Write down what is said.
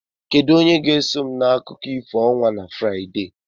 Kedu onye ga-eso m na akụkọ ifo ọnwa na Fraịde?